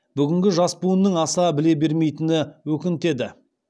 бүгінгі жас буынның аса біле бермейтіні өкінтеді